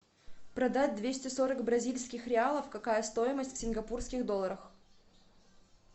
продать двести сорок бразильских реалов какая стоимость в сингапурских долларах